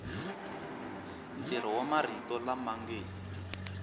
ntirho wa marito lama nge